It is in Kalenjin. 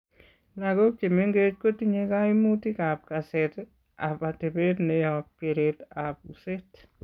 Lagook chemeng'ech kotinye koimutik ab kaseet ab atebet neyob kereet ab useet